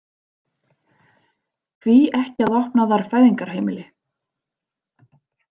Hví ekki að opna þar fæðingarheimili?